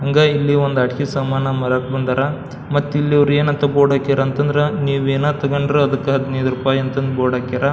ಹಂಗ ಇಲ್ಲಿ ಒಂದು ಅಡಿಕಿ ಸಾಮಾನು ಮರಕ್ ಬಂದರ ಮತ ಇಲ್ಲಿ ಏನ್ ಅಂತ ಬೋರ್ಡ್ ಹಾಕ್ಯಾರ ಅಂತ ನೀವ್ ಯೇನ ತಗೊಂಡ್ರ ಹದಿನೈದು ರೂಪಾಯಿ ಅಂತ ಅಂದ್ ಬೋರ್ಡ್ ಹಾಕ್ಯಾರ.